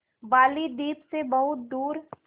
बालीद्वीप सें बहुत दूर